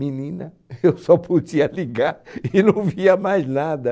Menina, eu só podia ligar e não via mais nada.